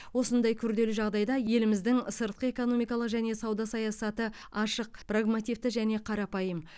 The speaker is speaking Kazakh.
осындай күрделі жағдайда еліміздің сыртқы экономикалық және сауда саясаты ашық прагмативті және қарапайым